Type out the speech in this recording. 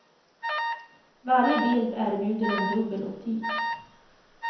Varje bild erbjuder en dubbel optik.